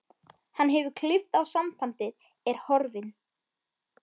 Hann hefur klippt á sambandið, er horfinn.